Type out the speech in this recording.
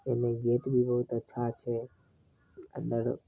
ओय मे गेट भी बहुत अच्छा छै अंदर --